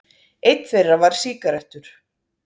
Einn þeirra var sígarettur.